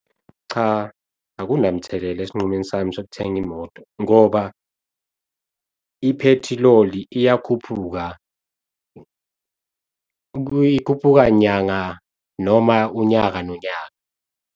Cha, akunamthelela esinqumeni sami sokuthenga imoto ngoba, iphethiloli iyakhuphuka ikhuphuka nyanga noma unyaka nonyaka.